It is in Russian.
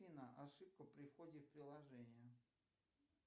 афина ошибка при входе в приложение